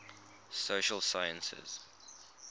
social sciences